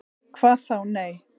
"""Hvað þá., nei."""